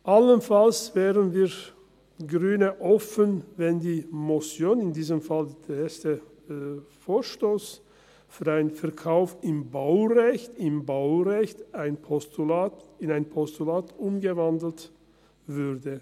Allenfalls wären wir Grünen offen, wenn die Motion, in diesem Fall der erste Vorstoss , für einen Verkauf im Baurecht – im Baurecht –, in ein Postulat umgewandelt würde.